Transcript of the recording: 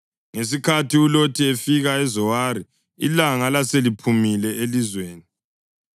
Ngesikhathi uLothi efika eZowari ilanga laseliphumile elizweni.